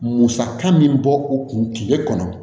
Musaka min bɔ u kun tile kɔnɔ